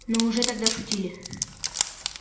но уже тогда шутили